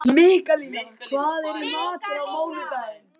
Mikkalína, hvað er í matinn á mánudaginn?